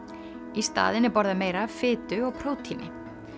í staðinn er borðað meira af fitu og prótíni